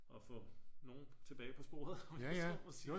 At få nogle tilbage på sporet om man så må sige